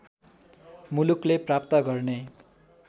मुलुकले प्राप्त गर्ने